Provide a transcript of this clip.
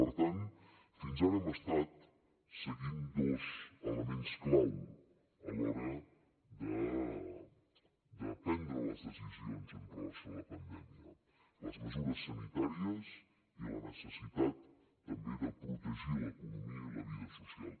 per tant fins ara hem estat seguint dos elements clau a l’hora de prendre les decisions en relació amb la pandèmia les mesures sanitàries i la necessitat també de protegir l’economia i la vida social